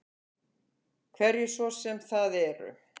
Hverjir svo sem það eru.